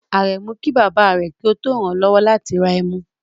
Aremu ki baba re ki o to ran an lowo lati ra emu